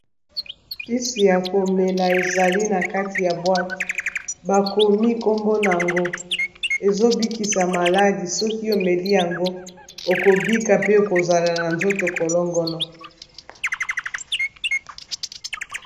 Kisi ya komela ezali na kati ya boite, bakomi nkombo nango ezo bikisa maladie soki omeli yango oko bika pe kozala na nzoto kolongono.